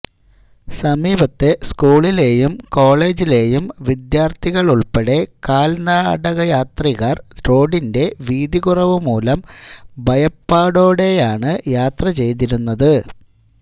സമീപത്തെ സ്കൂളിലേയും കോളജിലേയും വിദ്യാര്ഥികളുള്പ്പെടെ കാല്നടയാത്രികര് റോഡിന്റെ വീതികുറവുമൂലം ഭയപ്പാടോടെയാണ് യാത്രചെയ്തിരുന്നത്